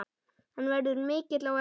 Hann verður mikill á eftir.